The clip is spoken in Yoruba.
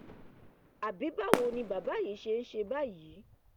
àbí báwo ni bàbá yìí ṣe ń ṣe báyìí